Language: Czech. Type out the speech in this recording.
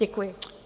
Děkuji.